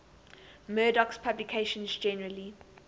murdoch's publications generally